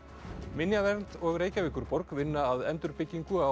minjavernd og Reykjavíkurborg vinna að endurbyggingu á